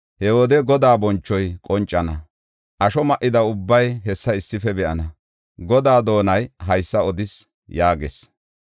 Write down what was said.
He wode Godaa bonchoy qoncana; asho ma7ida ubbay hessa issife be7ana. Godaa doonay haysa odis” yaagees.